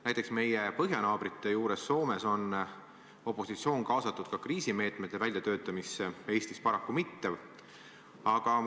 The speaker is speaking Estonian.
Näiteks meie põhjanaabrite juures Soomes on opositsioon kaasatud ka kriisimeetmete väljatöötamisse, Eestis paraku mitte.